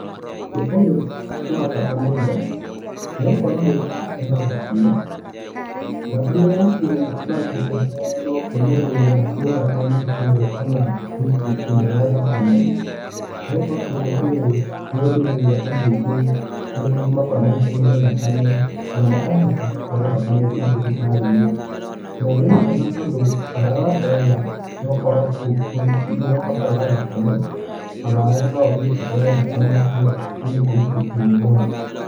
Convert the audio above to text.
Ũndũ ũyũ nĩ wa bata mũno nigukorwo rĩrĩa waheana thakame, thakame yakũ nũĩheanwo kwĩ mũndũ urĩa mwĩ thakame ĩmwe kana ngurubu ĩmwe ya thakame nigukorwo ũndũ ũyũ niũteithagia andũ aingĩ arĩa makoragũo manyihiĩrũo nĩ thakame na makahota kũheo thakame mathibitarĩinĩ na nĩ mwega tondũ onawe waheana noukũrwo wina ũbataro wa thakame onawe noũthĩe ũheyo thakame irĩa mwingurubuĩni imwe nayo.